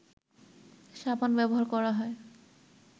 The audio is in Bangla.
সাবান ব্যবহার করা হয়